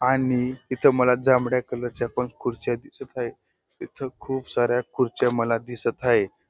आणि इथं मला जांभळ्या कलरच्या पण खुर्च्या दिसत आहे इथं खूप साऱ्या खुर्च्या मला दिसत हाये.